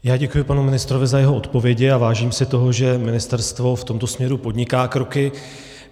Já děkuji panu ministrovi za jeho odpovědi a vážím si toho, že ministerstvo v tomto směru podniká kroky.